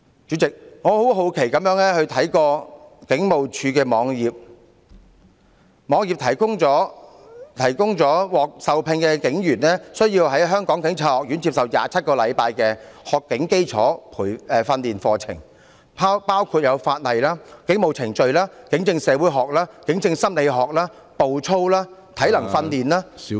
主席，我很好奇地看警務處的網頁，從中得知獲受聘的警員需要在香港警察學院接受27星期的學警基礎訓練課程，內容包括法例、警務程序、警政社會學、警政心理學、步操、體能訓練......